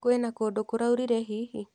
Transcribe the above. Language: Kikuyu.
Kwĩna kũndũ kũraurire hihi?